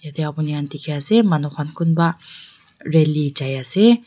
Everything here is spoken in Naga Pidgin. yatae apni khan dikhiase manu khan kunpa rally jaiase.